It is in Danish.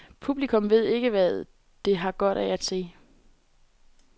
Publikum ved ikke, hvad det har godt af at se.